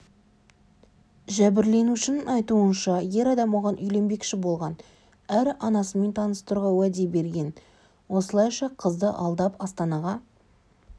жәбірленушінің айтуынша ер адам оған үйленбекші болған әрі анасымен таныстыруға уәде берген осылайша қызды алдап астанаға